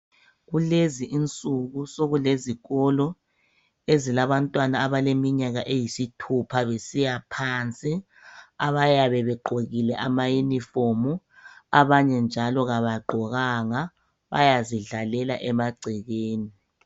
Kulezi insuku sokulezokolo ezilabantwana abaleminyaka eyisithupha besiya phansi abayabe begqoke amayunifomu abanye njalo kabagqokanga bayazidlalela emagcekeni